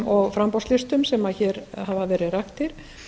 og framboðslistum sem hér hafa verið raktir